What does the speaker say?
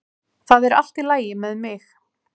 Það er allt í lagi með mig